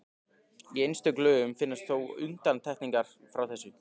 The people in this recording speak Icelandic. Í einstökum lögum finnast þó undantekningar frá þessu.